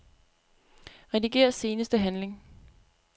Rediger seneste handling.